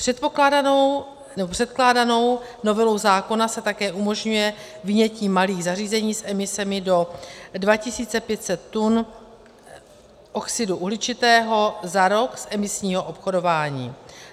Předkládanou novelou zákona se také umožňuje vynětí malých zařízení s emisemi do 2 500 tun oxidu uhličitého za rok z emisního obchodování.